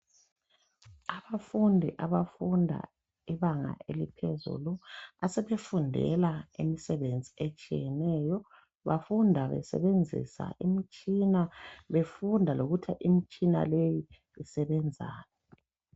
Abafundi abafunda ibanga eliphezulu asebefundela imisebenzi etshiyeneyo bafunda besebenzisa imtshina befunda lokuthi imtshina le isebenzani.